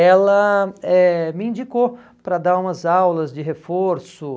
ela eh me indicou para dar umas aulas de reforço.